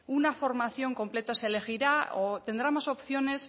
una formación completa se elegirá o tendrá más opciones